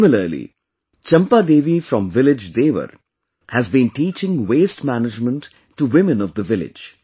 Similarly, Champa Devi from village Devar has been teaching waste management to women of the village